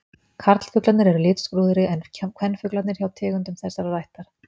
Karlfuglarnir eru litskrúðugri en kvenfuglarnir hjá tegundum þessarar ættar.